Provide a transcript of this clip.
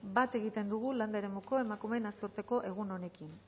bat egiten dugu landa eremuko emakumeen nazioarteko egun honekin